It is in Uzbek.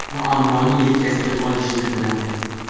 Muammoni yelkasiga olishni biladi.